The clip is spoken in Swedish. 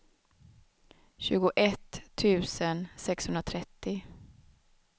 tjugoett tusen sexhundratrettio